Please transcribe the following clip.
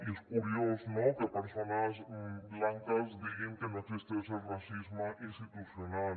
i és curiós no que persones blanques diguin que no existeix el racisme institucional